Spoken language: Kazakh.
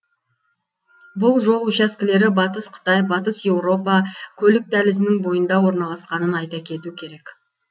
бұл жол учаскелері батыс қытай батыс еуропа көлік дәлізінің бойында орналасқанын айта кету керек